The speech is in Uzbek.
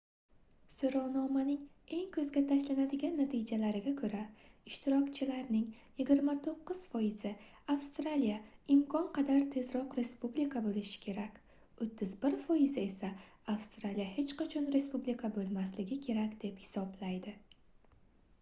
soʻrovnomaning eng koʻzga tashlanadigan natijalariga koʻra ishtirokchilarning 29 foizi avstraliya imkon qadar tezroq respublika boʻlishi kerak 31 foizi esa avstraliya hech qachon respublika boʻlmasligi kerak deb hisoblaydi